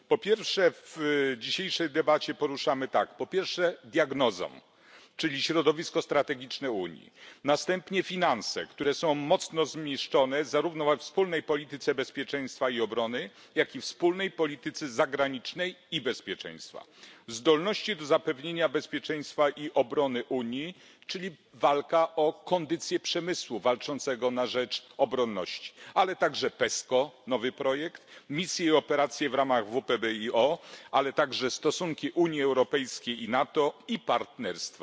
W dzisiejszej debacie poruszamy, po pierwsze diagnozę, czyli środowisko strategiczne Unii, po drugie finanse, które są mocno zniszczone, zarówno we wspólnej polityce bezpieczeństwa i obrony, jak i we wspólnej polityce zagranicznej i bezpieczeństwa, zdolności do zapewnienia bezpieczeństwa i obrony Unii, czyli walka o kondycję przemysłu walczącego na rzecz obronności, ale także PESCO nowy projekt misje i operacje w ramach WPBiO, ale także stosunki Unii Europejskiej i NATO i partnerstwa.